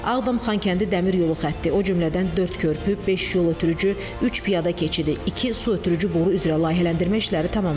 Ağdam-Xankəndi Dəmir yolu xətti, o cümlədən dörd körpü, beş yol ötürücü, üç piyada keçidi, iki su ötürücü boru üzrə layihələndirmə işləri tamamlanıb.